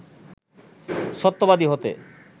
সত্যবাদী হতে